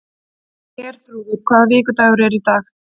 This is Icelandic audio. Herþrúður, hvaða vikudagur er í dag?